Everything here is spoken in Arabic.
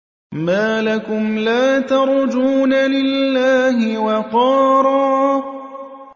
مَّا لَكُمْ لَا تَرْجُونَ لِلَّهِ وَقَارًا